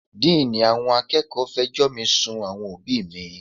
Díìní àwọn akẹ́kọ̀ọ́ fẹjọ́ mi sun àwọn òbíì mi.